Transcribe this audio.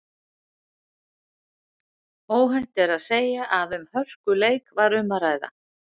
Óhætt er að segja að um hörkuleik var um að ræða.